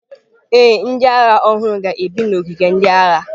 Ee, ndị agha ọhụrụ ga-ebi n’ogige ndị agha.